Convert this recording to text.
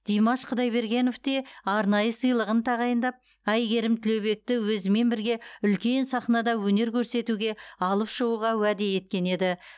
димаш құдайбергенов те арнайы сыйлығын тағайындап әйгерім тілеубекті өзімен бірге үлкен сахнада өнер көрсетуге алып шығуға уәде еткен еді